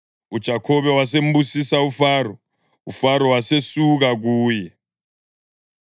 UJakhobe wasembusisa uFaro, uFaro wasesuka kuye.